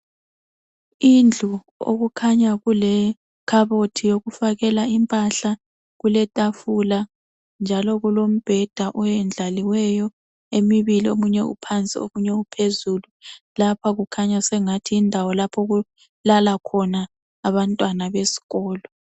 Indlu okukhanya kulekhabothi yokufakela impahla , kuletafula njalo kulombheda eyendlaliweyo emibili, omunye uphandi omunye uphezulu. Lapha kukhanya sengathi yindawo lapho okulala khona abantwana besikolo.